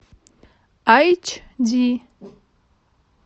айч ди